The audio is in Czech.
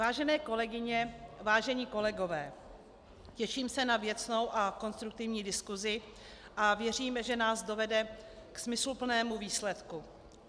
Vážené kolegyně, vážení kolegové, těším se na věcnou a konstruktivní diskusi a věřím, že nás dovede k smysluplnému výsledku.